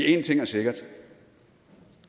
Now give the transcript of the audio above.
en ting er sikkert